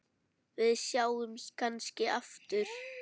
Við sjáumst kannski aftur.